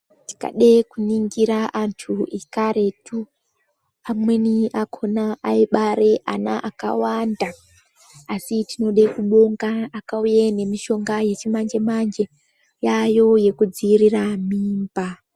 Tikade kuningire anthu ekaretu amweni akhona aibare ana akawanda asi tinode kubonga akauya nemishonga yechimanje manje yaayo yekudziirire mimba.